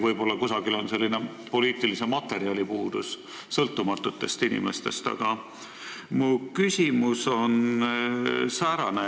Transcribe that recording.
Võib-olla kuskil on puudus sõltumatutest inimestest koosnevast poliitilisest materjalist.